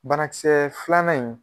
Bana kisɛɛ filanan in